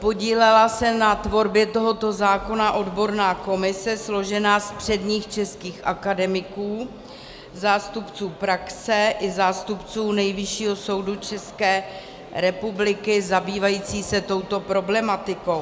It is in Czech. Podílela se na tvorbě tohoto zákona odborná komise složená z předních českých akademiků, zástupců praxe i zástupců Nejvyššího soudu České republiky zabývající se touto problematikou.